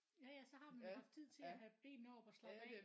Jaja så har man jo haft tid til at have benene op og slappe af